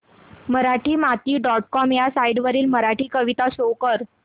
Marathimati dot com ह्या site वरील मराठी कविता शो कर